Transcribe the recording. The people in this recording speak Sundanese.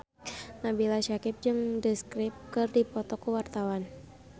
Nabila Syakieb jeung The Script keur dipoto ku wartawan